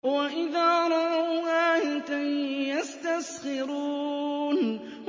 وَإِذَا رَأَوْا آيَةً يَسْتَسْخِرُونَ